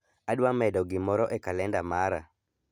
Adwa medo gimoro e kalenda mara.